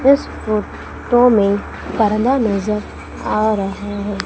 इस फोटो में परदा नजर आ रहा है।